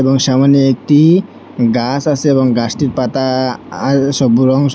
এবং সামনে একটি গাস আসে এবং গাছটির পাতা আল সবু রং স--